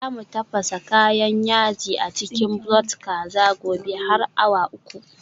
Za mu tafasa kayan yaji a cikin broth kaza. gobe har awa uku